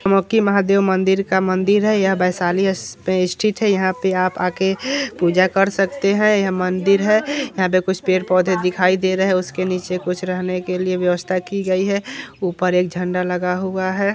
अलौकिक महादेव मंदिर का मंदिर है यह वैशाली पे स्थित है यहाँ पे आप आ के पूजा कर सकते है यह मंदिर है यहाँ पे कुछ पेड़-पौध दिखाई दे रहै है उसके नीचे कुछ रहने के लिए व्यवस्था की गई है उपर एक झंडा लगा हुआ है।